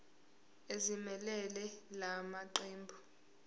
ezimelele la maqembu